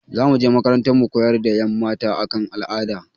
Za mu je makarantar mu koyar da ƴan mata a kan al'ada